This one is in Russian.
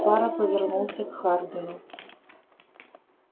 фара повернулся к хардину